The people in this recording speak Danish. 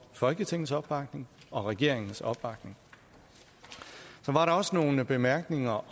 folketingets opbakning og regeringens opbakning så var der også nogle bemærkninger